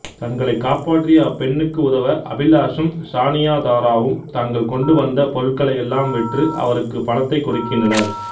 தங்களைக் காப்பாற்றிய அப்பெண்னுக்கு உதவ அபிலாசும் சானியாதாராவும் தாங்கள் கொண்டுவந்த பொருட்களையெல்லாம் விற்று அவருக்குப் பணத்தை கொடுக்கின்றனர்